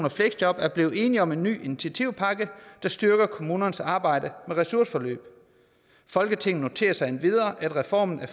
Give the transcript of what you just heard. og fleksjob er blevet enige om en ny initiativpakke der styrker kommunernes arbejde med ressourceforløb folketinget noterer sig endvidere at reformen af